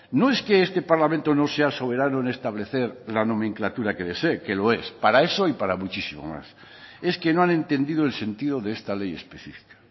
no es que este parlamento no sea soberano en establecer la nomenclatura que desee que lo es para eso y para muchísimo más es que no han entendido el sentido de esta ley especifica